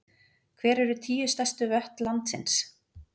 Hver eru tíu stærstu vötn landsins?